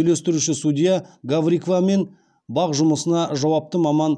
үйлестіруші судья гаврикова мен бақ жұмысына жауапты маман